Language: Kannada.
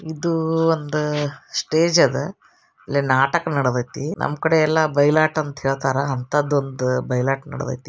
ಇದು ಒಂದ ಸ್ಟೇಜ್ ಅದ. ಇಲ್ಲ್ ನಾಟಕ್ ನಡದೈತಿ. ನಮ್ ಕಡೆ ಎಲ್ಲಾ ಬೈಲಾಟ ಅಂತ ಹೇಳ್ತಾರ. ಅಂಥದೊಂದ್ ಬಯಲಾಟ್ ನಡದೈತಿ.